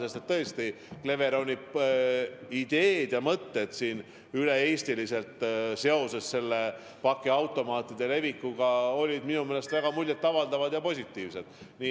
Sest et tõesti, Cleveroni ideed ja mõtted üle Eesti pakiautomaate levitades on minu meelest väga muljet avaldavad ja positiivsed.